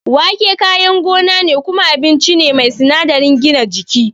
Wake kayan gona ne kuma abinci ne mai sinadarin gina jiki.